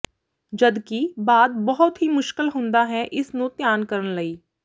ਜਦਕਿ ਬਾਅਦ ਬਹੁਤ ਹੀ ਮੁਸ਼ਕਲ ਹੁੰਦਾ ਹੈ ਇਸ ਨੂੰ ਧਿਆਨ ਕਰਨ ਲਈ